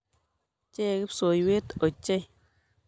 Chee kipsoiywet ochei.